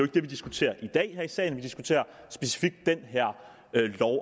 det vi diskuterer i dag her i salen vi diskuterer specifikt